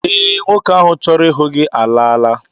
Ee, nwoke ahụ chọrọ ịhụ gị alaala